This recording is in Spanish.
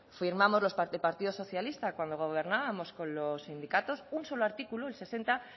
firmamos el partido socialista cuando gobernábamos con los sindicatos un solo artículo el sesenta